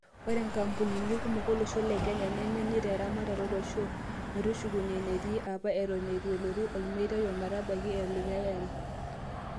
Ore nkampunini kumok olosho le kenya nemenyita eramatare olosho metushukunye enetii apa eton eitu elotu olmetai ometabaki olikay ari.